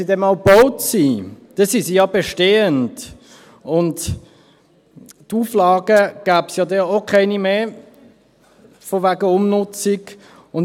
Wenn diese dann mal gebaut sind, sind sie ja bestehend, und Auflagen betreffend Umnutzung gäbe es ja dann auch keine mehr.